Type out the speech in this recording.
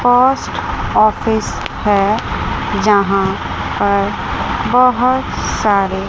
post office है यहां पर बहुत सारे--